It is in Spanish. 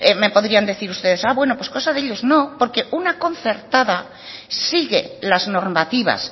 me podrían decir ustedes bueno pues cosa de ellos no porque una concertada sigue las normativas